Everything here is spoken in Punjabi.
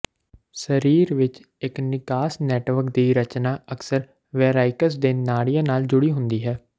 ਸਰੀਰ ਵਿੱਚ ਇੱਕ ਨਿਕਾਸ ਨੈਟਵਰਕ ਦੀ ਰਚਨਾ ਅਕਸਰ ਵੈਰਾਇਕਸ ਦੇ ਨਾੜੀਆਂ ਨਾਲ ਜੁੜੀ ਹੁੰਦੀ ਹੈ